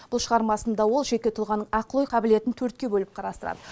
бұл шығармасында ол жеке тұлғаның ақыл ой қабілетін төртке бөліп қарастырады